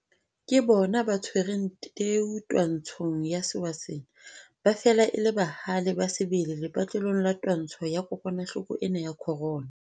Ke bona ba tshwereng teu twantshong ya sewa sena. Ba fela e le bahale ba sebele lepatlelong la twantsho ya kokwanahloko ena ya corona.